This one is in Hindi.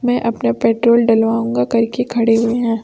मैं अपना पेट्रोल डलवाऊंगा कर के खड़े हुए हैं।